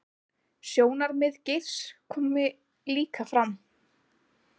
Sjónarmið Geirs komi líka fram